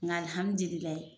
Nga alihamidililayi